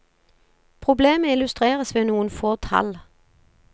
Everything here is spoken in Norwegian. Problemet illustreres ved noen få tall.